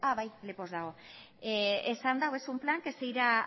bai lepoz dago esan du es un plan que se ira